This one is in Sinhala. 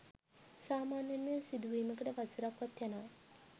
සාමාන්‍යයෙන් මෙය සිදුවීමට වසරක් වත් යනවා.